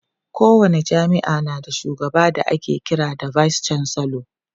ko wani jami'a na da shugaba da ake kira da vice chancellor